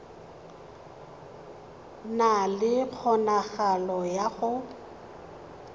na le kgonagalo ya go